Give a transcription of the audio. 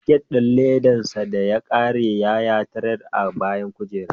Jaket ɗin ledar sa da ya ƙare, ya rataya a bayan kujera.